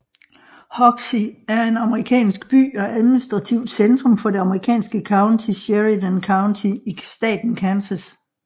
Hoxie er en amerikansk by og administrativt centrum for det amerikanske county Sheridan County i staten Kansas